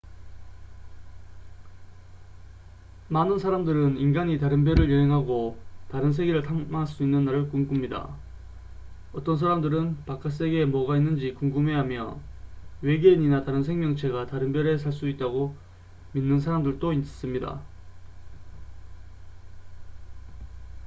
많은 사람들은 인간이 다른 별을 여행하고 다른 세계를 탐험할 수 있는 날을 꿈꿉니다 어떤 사람들은 바깥 세계에 뭐가 있는지 궁금해하며 외계인이나 다른 생명체가 다른 별에 살 수 있다고 믿는 사람들도 있습니다